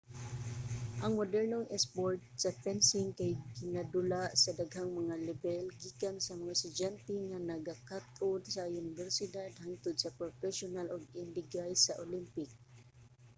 ang modernong isport sa fencing kay ginadula sa daghang mga lebel gikan sa mga estudyante nga nagakat-on sa unibersidad hangtod sa propesyonal ug indigay sa olympic